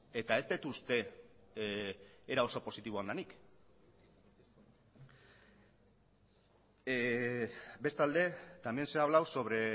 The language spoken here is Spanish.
eta ez dut uste era oso positiboan denik bestalde también se ha hablado sobre